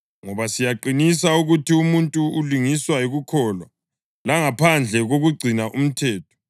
Ngoba siyaqinisa ukuthi umuntu ulungiswa yikukholwa langaphandle kokugcina umthetho.